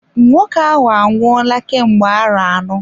Nwoke ahụ anwụola kemgbe arọ anọ.